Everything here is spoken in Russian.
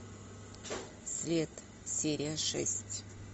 след серия шесть